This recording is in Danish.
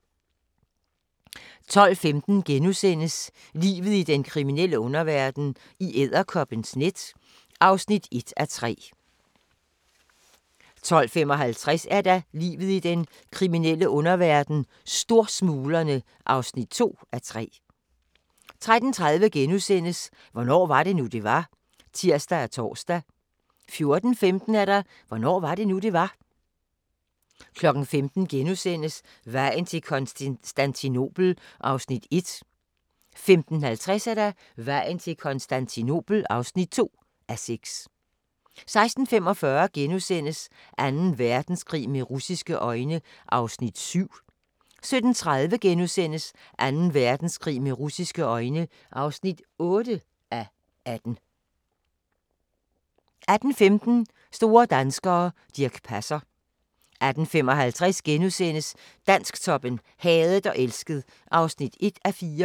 12:15: Livet i den kriminelle underverden - i edderkoppens net (1:3)* 12:55: Livet i den kriminelle underverden - Storsmuglerne (2:3) 13:30: Hvornår var det nu, det var? *(tir og tor) 14:15: Hvornår var det nu, det var? 15:00: Vejen til Konstantinopel (1:6)* 15:50: Vejen til Konstantinopel (2:6) 16:45: Anden Verdenskrig med russiske øjne (7:18)* 17:30: Anden Verdenskrig med russiske øjne (8:18)* 18:15: Store danskere - Dirch Passer 18:55: Dansktoppen: Hadet og elsket (1:4)*